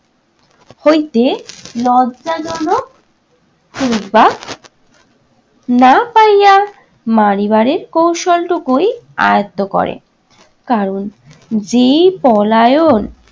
হইতে লজ্জাজনক কিংবা না পাইয়া মারিবারের কৌশলটুকুই আয়ত্ত করে। কারণ যেই পলায়ন